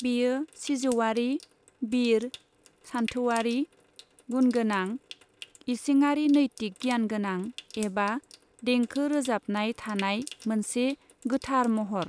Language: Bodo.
बेयो सिजौआरि, बिर, सानथौआरि, गुनगोनां, इसिङारि नैतिक गियानगोनां एबा देंखो रोजाबनाय थानाय मोनसे गोथार महर।